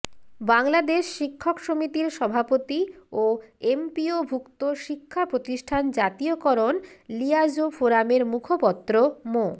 বাংলাদেশ শিক্ষক সমিতির সভাপতি ও এমপিওভুক্ত শিক্ষা প্রতিষ্ঠান জাতীয়করণ লিয়াজোঁ ফোরামের মুখপত্র মো